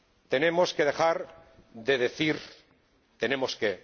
Tenemos que dejar de decir tenemos que.